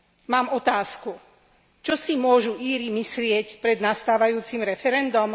Mám otázku čo si môžu Íri myslieť pred nastávajúcim referendom?